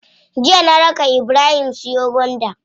Jiya na raka ibrahim siyo gwanda.